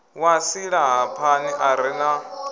wa silahapani a re na